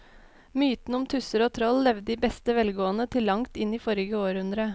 Mytene om tusser og troll levde i beste velgående til langt inn i forrige århundre.